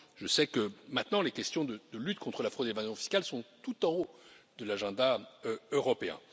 Je sais que, maintenant, les questions de lutte contre la fraude et l'évasion fiscales sont tout en haut de l'agenda européen.